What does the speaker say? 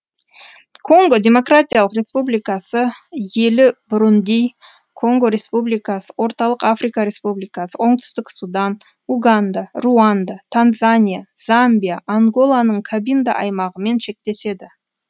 конго демократиялық республикасы елі бурунди конго республикасы орталық африка республикасы оңтүстік судан уганда руанда танзания замбия анголаның кабинда аймағымен шектеседі